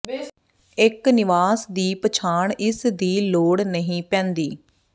ਇੱਕ ਨਿਵਾਸ ਦੀ ਪਛਾਣ ਇਸ ਦੀ ਲੋੜ ਨਹੀਂ ਪੈਂਦੀ